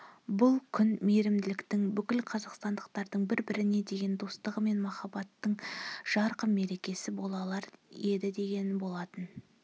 бұл күн мейірімділіктің бүкіл қазақстандықтардың бір біріне деген достығы мен махаббатының жарқын мерекесі бола алар еді деген болатын